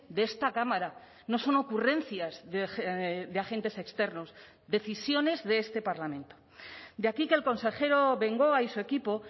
de esta cámara no son ocurrencias de agentes externos decisiones de este parlamento de aquí que el consejero bengoa y su equipo